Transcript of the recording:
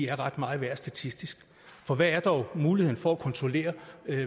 er ret meget værd statistisk for hvad er dog muligheden for at kontrollere